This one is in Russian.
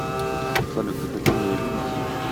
салют ты хотел меня видеть